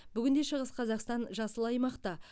бүгінде шығыс қазақстан жасыл аймақта